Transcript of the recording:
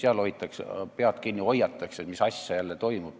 Seal hoitakse pead kinni, oiatakse, mis asi jälle toimub.